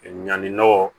Ɲanni nɔgɔ